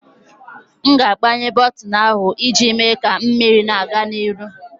M na-agbanye bọtịnụ ahụ iji mee ka mmiri na-aga n'ihu.